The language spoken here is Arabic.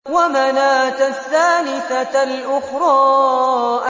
وَمَنَاةَ الثَّالِثَةَ الْأُخْرَىٰ